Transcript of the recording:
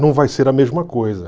não vai ser a mesma coisa.